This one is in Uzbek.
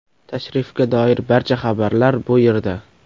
Tashrifga doir barcha xabarlar bu yerda .